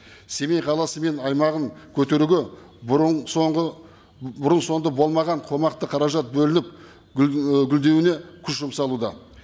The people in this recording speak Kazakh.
семей қаласы мен аймағын көтеруге бұрын соңғы бұрын соңды болмаған қомақты қаражат бөлініп ііі гүлдеуіне күш жұмсалуда